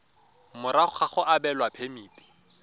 morago ga go abelwa phemiti